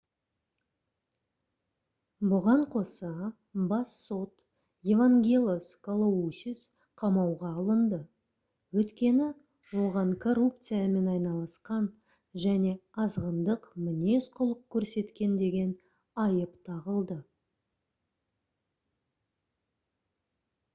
бұған қоса бас сот евангелос калоусис қамауға алынды өйткені оған коррупциямен айналысқан және азғындық мінез-құлық көрсеткен деген айып тағылды